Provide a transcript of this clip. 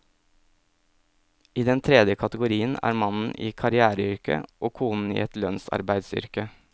I den tredje kategorien er mannen i karriereyrke og konen i et lønnsarbeideryrke.